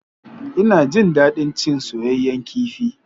Ina jin daɗin cin soyayyen kifi.